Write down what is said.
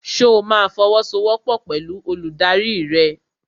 Ṣo ma fọwọ́sowọ́pọ̀ pẹ̀lú olùdarí rẹ?